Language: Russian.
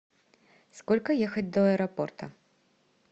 сколько ехать до аэропорта